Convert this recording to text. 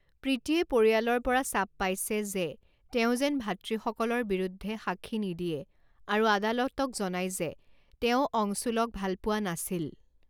প্ৰীতিয়ে পৰিয়ালৰ পৰা চাপ পাইছে যে তেওঁ যেন ভাতৃসকলৰ বিৰুদ্ধে সাক্ষী নিদিয়ে আৰু আদালতক জনায় যে তেওঁ অংশুলক ভালপোৱা নাছিল।